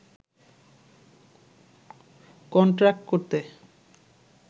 contract করতে